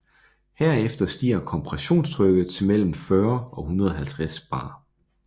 Herefter stiger kompressionstrykket til mellem 40 og 150 bar